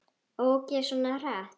Ók ég svona hratt?